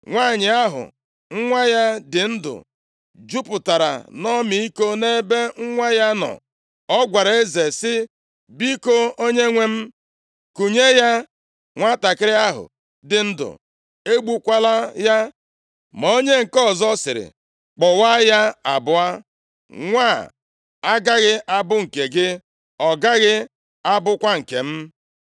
Nwanyị ahụ nwa ya dị ndụ jupụtara nʼọmịiko nʼebe nwa ya nọ, ọ gwara eze sị, “Biko, onyenwe m, kunye ya nwantakịrị ahụ dị ndụ. Egbukwala ya.” Ma onye nke ọzọ sịrị, “Kpọwaa ya abụọ. Nwa a agaghị abụ nke gị, ọ gaghị abụkwa nke m.”